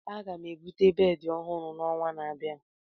Aga m ebute bedị ọhụrụ n'ọnwa na-abịa.